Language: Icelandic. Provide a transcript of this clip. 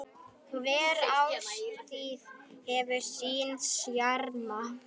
Hver árstíð hefur sinn sjarma.